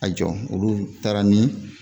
A jɔ olu taara ni